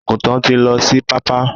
Àgùntàn tí lọ sí pápá.